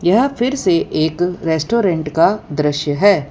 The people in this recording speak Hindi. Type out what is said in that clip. यह फिर से एक रेस्टोरेंट का दृश्य है।